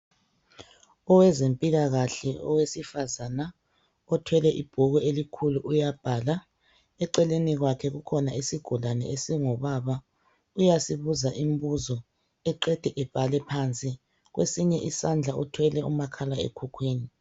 Owezempilakahle owesifazana othwele ibhuku elikhulu uyabhala. Eceleni kwakhe kukhona isigulane esingubaba uyasibuza imibuzo eqede ebhale phansi. Kwesinye isandla uthwele umakhalekhukhwini